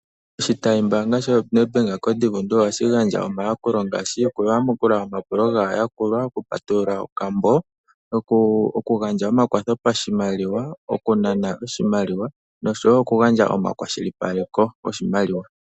Oshitayi mbaanga sho Nedbank koDivundu ohashi gandja omayakulo ngaashi, okuyamukula omapulo gaayakulwa, okupatulula okambo, okugandja omakwatho pashimaliwa, okunana oshimaliwa, noshowo okugandja omakwashilipaleko goshimaliwa.